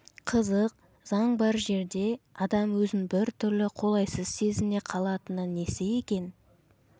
қызық заң бар жерде адам өзін бір түрлі қолайсыз сезіне қалатыны несі екен